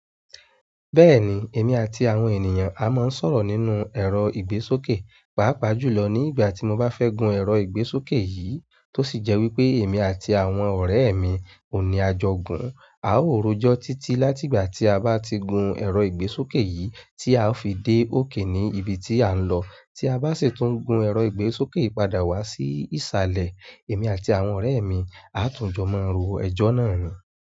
Bẹ́ẹ̀ni, èmi àti àwọn ènìyàn a máa ń sọ̀rọ̀ nínú ẹ̀rọ ìgbésókè, pàápàá jùlọ ní ìgbà tí mo bá fẹ́ gun ẹ̀rọ ìgbésókè yìí tó sì jẹ́ wípé èmi àti àwọn ọ̀rẹ́ mi òun ní a jọ gun-un. Ao rojo titi láti ìgbà ti a ba ti gun ero ìgbésókè yìí, ti ao fi de oke ni ìbí tí a nlọ tí a bá sì tún gun ẹ̀rọ ìgbésókè yìí padà wá sí ìsàlẹ̀, èmi àti àwọn ọ̀rẹ́ mi á tún jọ máa ro ẹjọ́ náà nù.